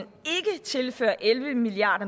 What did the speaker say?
ikke tilfører elleve milliard